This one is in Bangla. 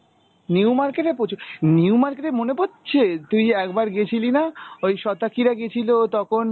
new market এ প্রচুর, new market এ মনে পড়ছে তুই একবার গেছিলি না ওই শতাকিরা গিয়েছিল তখন